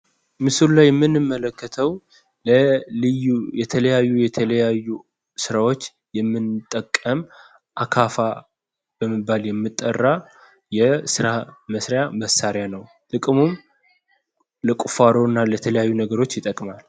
ምስሉ ላይ የምንመለከተው ለልዩ ለተለያዩ የተለያዩ ስራዎች የምንጠቀመው አካፋ በመባል የሚጠራ የስራ መስሪያ መሳሪያ ነው። ጥቅሙም ለቁፋሮ እና ለተለያዩ ነገሮች ይጠቅማል።